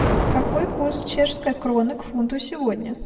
какой курс чешской кроны к фунту сегодня